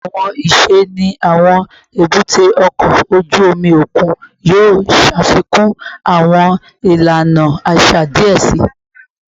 Awọn iṣẹ ni awọn ebute oko oju omi okun yoo ṣafikun awọn ilana aṣa aṣa diẹ sii